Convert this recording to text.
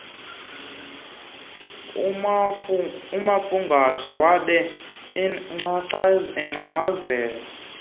umafungwashe wabe engcangcazela